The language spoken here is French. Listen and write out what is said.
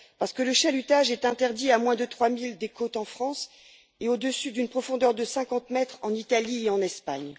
Parce que le chalutage est interdit à moins de trois milles des côtes en France et au dessus d'une profondeur de cinquante mètres en Italie et en Espagne.